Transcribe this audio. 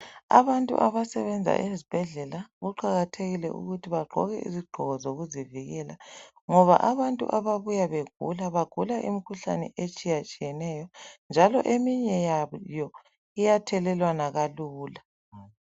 Abantu abasebenza ezibhedlela kuqakathekile ukuthi bagqoke izigqoko zokuzivikela ngoba abantu ababuya begula ezibhedlela bagula umikhuhlane etshiyatshiyeneyo njalo eminye yayo iyathelelwana kalula.